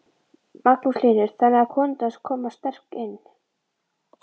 Magnús Hlynur: Þannig að konurnar koma sterkt inn?